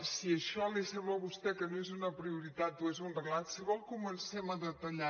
si això li sembla a vostè que no és una prioritat o és un relat si vol comencem a detallar